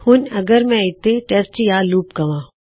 ਹੁਣ ਅਗਰ ਮੈਂ ਇਥੇ ਟੈਸਟ ਯਾ ਲੂਪ ਕਹਾਂ